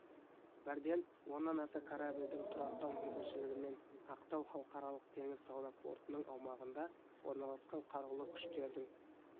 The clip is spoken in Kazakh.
бірден оннан аса корабльдің тұрақтау мүмкіншілігімен ақтау халықаралық теңіз сауда портының аумағында орналасқан қарулы күштердің